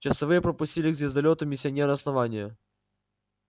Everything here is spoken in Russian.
часовые пропустили к звездолёту миссионера основания